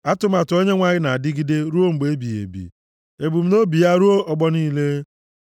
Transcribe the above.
Atụmatụ Onyenwe anyị na-adịgide ruo mgbe ebighị ebi, ebumnobi ya ruo ọgbọ niile.